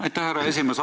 Aitäh, härra esimees!